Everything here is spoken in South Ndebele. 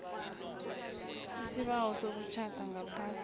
isibawo sokutjhada ngaphasi